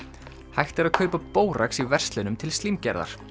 hægt er að kaupa bórax í verslunum til slímgerðar